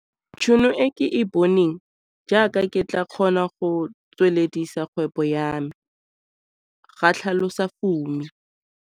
Tšhono e ke e boneng, jaaka ke tla kgona go tsweledisa kgwebo ya me, ga tlhalosa Fumi.